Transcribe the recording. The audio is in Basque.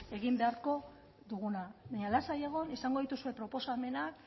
egin beharko duguna baina lasai egon izango dituzue proposamenak